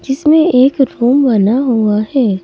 जिसमें एक रूम बना हुआ है।